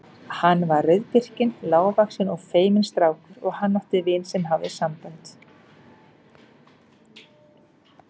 Hann var rauðbirkinn, lágvaxinn og feiminn strákur og hann átti vin sem hafði sambönd.